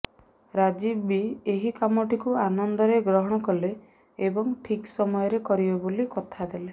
ରାଜୀବ ବି ଏହି କାମଟିକୁ ଆନନ୍ଦରେ ଗ୍ରହଣ କଲେ ଏବଂ ଠିକ୍ ସମୟରେ କରିବେ ବୋଲି କଥାଦେଲେ